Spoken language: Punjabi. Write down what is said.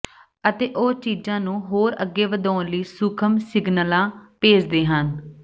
ਅਤੇ ਉਹ ਚੀਜ਼ਾਂ ਨੂੰ ਹੋਰ ਅੱਗੇ ਵਧਾਉਣ ਲਈ ਸੂਖਮ ਸਿਗਨਲਾਂ ਭੇਜਦੇ ਹਨ